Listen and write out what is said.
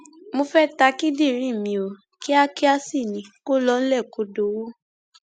mo fẹẹ ta kíndìnrín mi ò kíákíá sí ni kó lọ nílé kó dọwọ